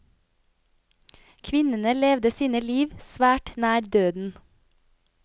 Kvinnene levde sine liv svært nær døden.